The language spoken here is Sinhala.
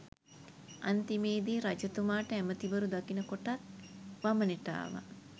අන්තිමේදී රජතුමාට ඇමතිවරු දකින කොටත් වමනෙට ආවා.